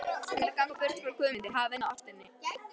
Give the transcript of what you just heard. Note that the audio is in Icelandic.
Hún er að ganga burt frá Guðmundi, hafinu og ástinni.